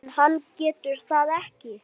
En hann getur það ekki.